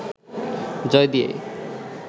জয় দিয়েই